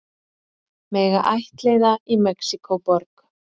Mega ættleiða í Mexíkóborg